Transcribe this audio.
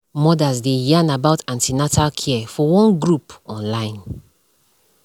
mothers dey yarn about an ten atal care for one group on online